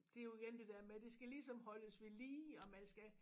Det jo igen det der med det skal ligesom holdes ved lige og man skal